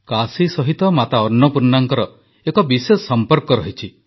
କାଶୀ ସହିତ ମାତା ଅନ୍ନପୂର୍ଣ୍ଣାଙ୍କର ଏକ ବିଶେଷ ସମ୍ପର୍କ ରହିଛି